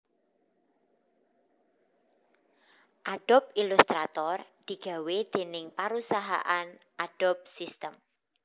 Adobe Illustrator digawé déning parusahan Adobe System